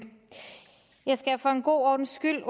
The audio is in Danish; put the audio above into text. jeg skal for en god ordens skyld